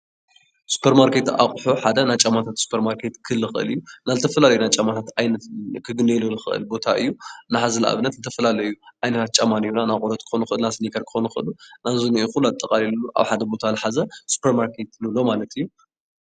ስፖርማርኬት አቁሑ ሓደ ናይ ጫማ ኣቁሑ ክህሉ ይክእል እዩ፡፡ ዝተፈላለዩ ናይ ጫማታት ዓይነት ክርከበሉ ዝክእል ቦታ እዩ፡፡ እና ሕዚ ንኣብነት ዝተፈላለዩ ጫማታት ኣለው ናይ ቆርበት ክኮኑ ይክእሉ ፣ናይ ስኒከር ክኮኑ ይክእሉ። ነዚ ኩሉ ኣጠቃሊሉ ኣብ ሓደ ቦታ ዝሓዘ ስፖርማርኬት ንብሎ ማለት እዩ፡፡